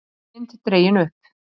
Dökk mynd dregin upp